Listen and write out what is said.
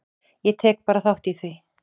Ég tek bara þátt í því.